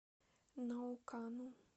наукану